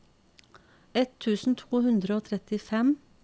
ett tusen to hundre og trettifem